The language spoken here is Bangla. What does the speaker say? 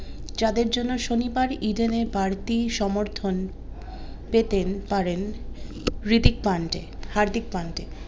যাদের জন্য শনিবার ইডেনে বাড়তি সমর্থন পেতেন পারেন রিদিক পান্ডে হার্দিক পান্ডে